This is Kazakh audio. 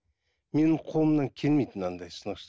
менің қолымнан келмейді мынандай сынықшы